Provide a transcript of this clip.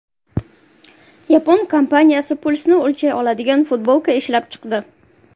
Yapon kompaniyasi pulsni o‘lchay oladigan futbolka ishlab chiqdi.